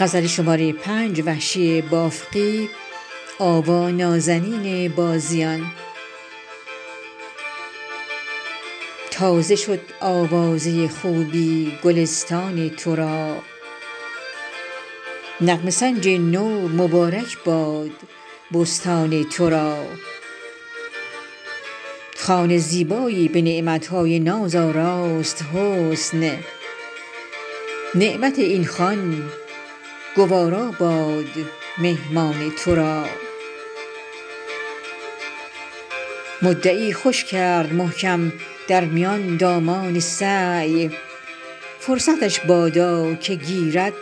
تازه شد آوازه خوبی گلستان ترا نغمه سنج نو مبارک باد بستان ترا خوان زیبایی به نعمتهای ناز آراست حسن نعمت این خوان گوارا باد مهمان ترا مدعی خوش کرد محکم در میان دامان سعی فرصتش بادا که گیرد